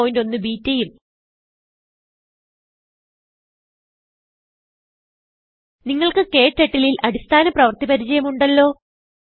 081 ബെട്ട ഉം നിങ്ങൾക്ക് ക്ടർട്ടിൽ ൽ അടിസ്ഥാന പ്രവർത്തി പരിചയം ഉണ്ടല്ലോ